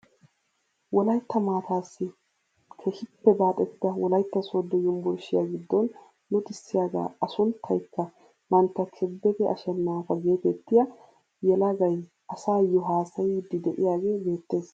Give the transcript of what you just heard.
Wolaytta maatassi keehippe baaxettida wolaytta sooddo yunburushiyaa giddon luxxisiyaaga a sunttaykka mantta kebede ashenaafa getettiyaa yelagay asayoo haasayiidi de'iyaagee beettees.